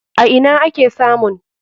A ina ake samun?